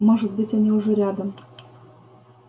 может быть они уже рядом